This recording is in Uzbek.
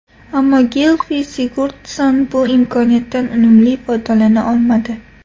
Ammo Gilfi Sigurdsson bu imkoniyatdan unumli foydalana olmadi.